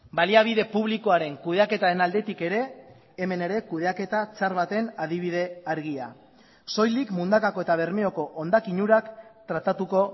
baliabide publikoaren kudeaketaren aldetik ere hemen ere kudeaketa txar baten adibide argia soilik mundakako eta bermeoko hondakin urak tratatuko